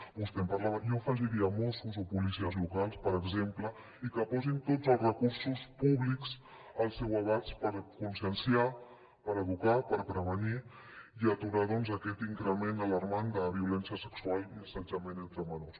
vostè en parlava jo hi afegiria mossos o policies locals per exemple i que posin tots els recursos públics al seu abast per conscienciar per educar per prevenir i aturar aquest increment alarmant de violència sexual i assetjament entre menors